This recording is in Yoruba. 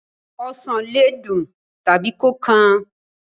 Osàn le dùn tàbí kó kan.